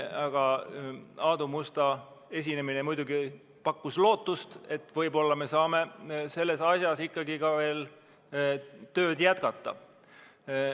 Aga Aadu Musta esinemine pakkus muidugi lootust, et võib-olla me saame selles asjas ikkagi veel tööd jätkata.